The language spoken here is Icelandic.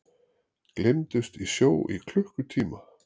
Gleymdust í sjó í klukkutíma